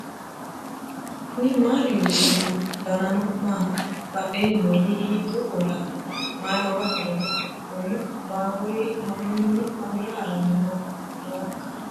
knuni maa leellishanno ? danano maati ? badheenni noori hiitto kuulaati ? mayi horo afirino ? kuni baawuri mamminni mamira haranni noohoikka